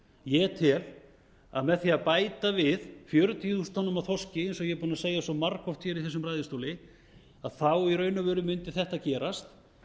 ég tel að með því að bæta við fjörutíu þúsund tonnum af þorski eins og ég er búinn að segja svo margoft hér í þessum ræðustóli þá í raun og veru mundi þetta gerast